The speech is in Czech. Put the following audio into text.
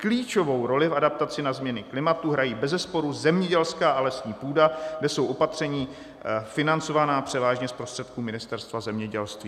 Klíčovou roli v adaptaci na změny klimatu hrají bezesporu zemědělská a lesní půda, kde jsou opatření financována převážně z prostředků Ministerstva zemědělství."